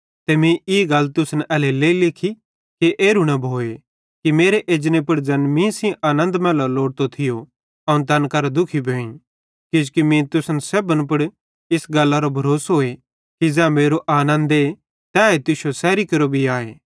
ते मीं ई गल तुसन एल्हेरेलेइ लिखी कि एरू न भोए कि मेरे एजने पुड़ ज़ैन सेइं आनन्द मैल्लेरो लोड़तो थियो अवं तैन करां दुखी भोईं किजोकि मीं तुसन सेब्भन पुड़ इस गल्लरो भरोसोए कि ज़ै मेरो आनन्दे तैए तुश्शो सैरी केरो भी आए